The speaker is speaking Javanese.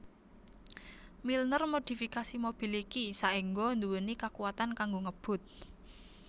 Milner modifikasi mobil iki saéngga nduweni kakuwatan kanggo ngebut